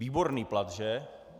Výborný plat, že?